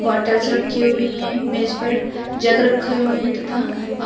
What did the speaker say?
bottles रखी हुई है मेज पर जग रखे हुए हैं तथा--